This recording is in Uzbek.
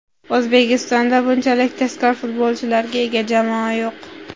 O‘zbekistonda bunchalik tezkor futbolchilarga ega jamoa yo‘q.